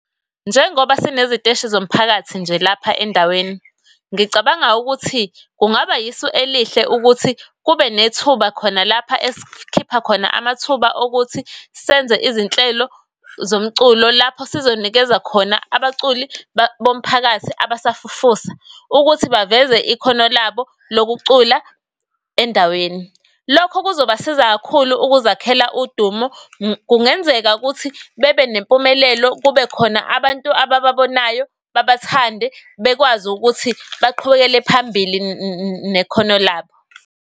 Njengoba sine ziteshi zomphakathi nje lapha endaweni, ngicabanga ukuthi kungaba isu elihle ukuthi kube nethuba khona lapha esikhipha khona amathuba okuthi senze izinhlelo zomculo lapho sizonikeza khona abaculi bomphakathi abasafufusa ukuthi baveze ikhono labo lokucula endaweni. Lokho kuzobasiza kakhulu ukuzakhele udumo. Kungenzeka ukuthi bebe nempumelelo, kube khona abantu abababonayo, babathande, bekwazi ukuthi baqhubekele phambili nekhono labo.